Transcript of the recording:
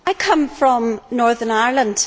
I come from Northern Ireland.